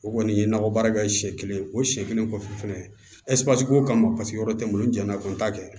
O kɔni ye nakɔ baara kɛ siɲɛ kelen o siɲɛ kelen kɔfɛ fɛnɛ ko kama paseke yɔrɔ tɛ n bolo n janna n t'a kɛ